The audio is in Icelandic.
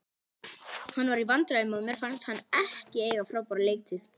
Hann var í vandræðum og mér fannst hann ekki eiga frábæra leiktíð.